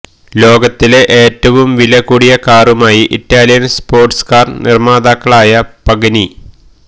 ലോകത്തിലെ ഏറ്റവും വില കൂടിയ കാറുമായി ഇറ്റാലിയന് സ്പോര്ട്സ് കാര് നിര്മാതാക്കളായ പഗനി